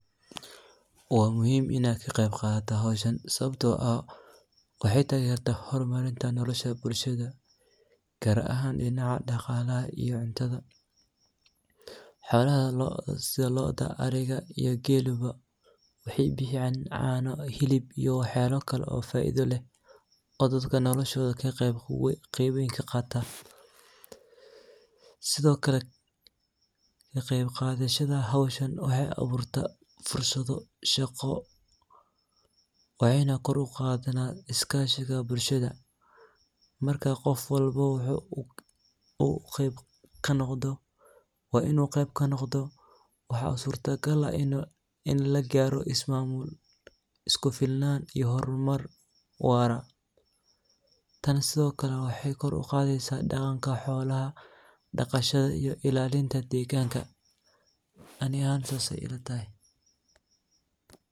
Waa muhim inad ka qeb qataa howshan, sababto ah waxay tagartaa horunarinta nodha bulshada, gar ahan dhinaca dhaqaalaha iyo cuntada xoolaha sida loo'da, ariga iyo geele ba waxay bixiyan caano, hilib iyo wax yalo kale oo faa'iido leh oo dadka noloshoda qeb weyn kaqaata, sidokale kaqeb qadashada howshan waxay abuurta fursado shaqo waxay na kor uqaada iskashiga bulshada marka qof walbo waa inu qeb kanoqdo, waxa surta gal ah in lagaaro ismaamul iyo isku filnan waara, tan sidokale waxay kor uqaadeysa dhaqanka xolaha, dhaqashada iyo ilallinta deegganka, ani ahan sas ay ilatahay